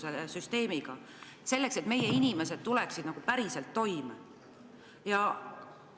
Olgu süsteem ükskõik missugune, meie inimesed peaksid saama päriselt toime tulla.